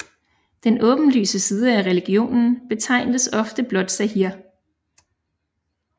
Den åbenlyse side af religionen betegnes også ofte blot zâhir